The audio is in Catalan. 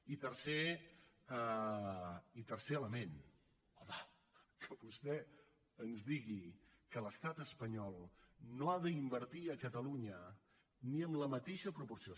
i tercer element home que vostè ens digui que l’estat espanyol no ha d’invertir a catalunya ni en la mateixa proporció